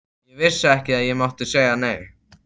Ég vissi ekki að ég mátti segja nei.